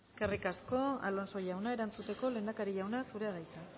eskerrik asko alonso jauna erantzuteko lehendakari jauna zurea da hitza